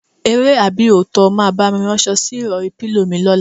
Eré àbí òótó̩? O máa bá mi ráns̩o̩ sí ìrò̩rí/pílò mi ló̩la?